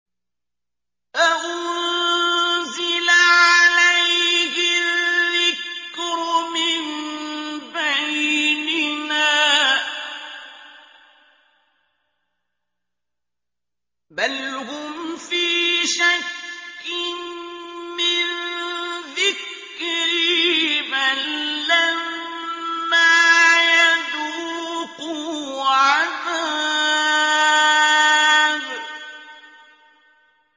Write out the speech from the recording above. أَأُنزِلَ عَلَيْهِ الذِّكْرُ مِن بَيْنِنَا ۚ بَلْ هُمْ فِي شَكٍّ مِّن ذِكْرِي ۖ بَل لَّمَّا يَذُوقُوا عَذَابِ